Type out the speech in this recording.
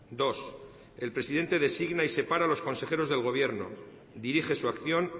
dos el presidente designa y separa a los consejeros del gobierno dirige su acción